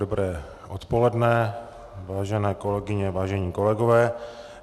Dobré odpoledne, vážené kolegyně, vážení kolegové.